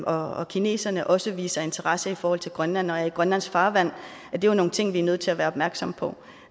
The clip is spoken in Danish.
og kineserne også viser interesse i forhold til grønland og grønlandsk farvand er jo nogle ting vi er nødt til at være opmærksomme på